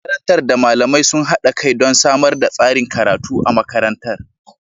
Shugaban makarantar da malamai sun haɗa kai don samar da tsarin karatu a makarantar.